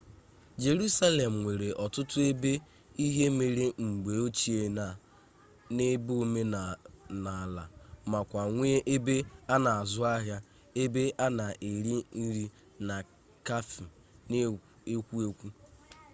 jerusalem nwere otutu ebe ihe mere mgbe ochie na ebe omenala makwa nwee ebe ana azu ahia ebe ana ere nri na cafe n'ekwo ekwo